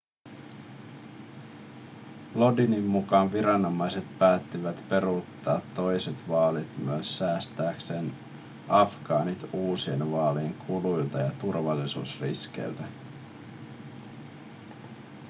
lodinin mukaan viranomaiset päättivät peruuttaa toiset vaalit myös säästääkseen afgaanit uusien vaalien kuluilta ja turvallisuusriskeiltä